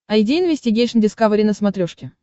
айди инвестигейшн дискавери на смотрешке